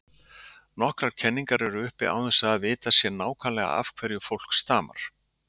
Nokkrar kenningar eru uppi án þess að að vitað sé nákvæmlega af hverju fólk stamar.